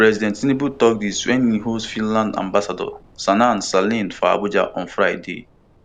president tinubu tok dis wen e host finland ambassador sanna selin for abuja on friday